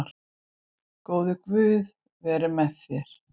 Góði Guð veri með þér.